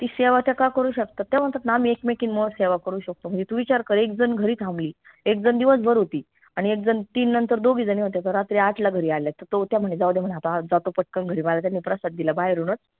ती सेवा त्या का करू शकतात त्या म्हनतात ना आम्ही एकमेकींमुळं सेवा करू शकतो म्हनजे तू विचार कर एक झन घरी थांबली एक झन दिवसभर होती आनि एक झन तीन नंतर दोघी झनी होत्या त रात्री आठला घरी आल्या त त्या म्हने जाऊदे म्हने आता आज जातो पटकन घरी महाराजांनी प्रसाद दिला बाहेरूनच